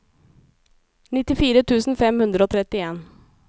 nittifire tusen fem hundre og trettien